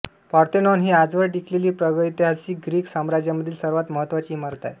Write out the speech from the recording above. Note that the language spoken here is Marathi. पार्थेनॉन ही आजवर टिकलेली प्रागैतिहासिक ग्रीक साम्राज्यामधील सर्वात महत्त्वाची इमारत आहे